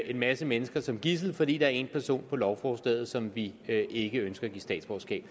en masse mennesker som gidsler fordi der er en person på lovforslaget som vi ikke ønsker at give statsborgerskab